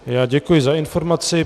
Já děkuji za informaci.